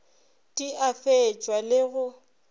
di a fetšwa le go